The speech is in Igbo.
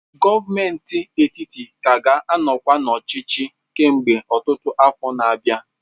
Gọọmenti etiti ka ga-anọkwa n'ọchịchị kemgbe ọtụtụ afọ na-abịa.